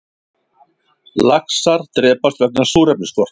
Laxar drepast vegna súrefnisskorts